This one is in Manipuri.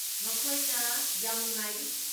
ꯃꯈꯣꯏꯅ ꯌꯥꯝ ꯅꯨꯡꯉꯥꯏꯔꯤ꯫